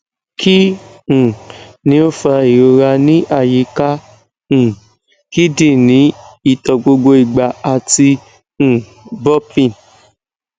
kí um ni o fa ìrora ní ayíka um kídínì ito gbogbo igba ati um burping